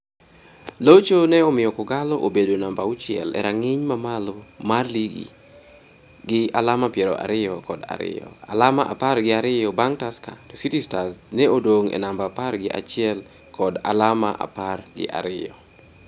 Locho ne omiyo K'Ogalo obedo namba auchiel e rang'iny ma malo mar lig gi alama piero ariyo kod ariyo, alama apar gi ariyo bang' Tusker to City Stars ne odong' e namba apar gi achiel kod alama apar gi abiriyo.